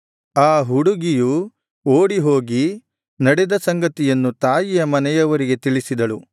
ಆ ಹುಡುಗಿಯು ಓಡಿ ಹೋಗಿ ನಡೆದ ಸಂಗತಿಯನ್ನು ತಾಯಿಯ ಮನೆಯವರಿಗೆ ತಿಳಿಸಿದಳು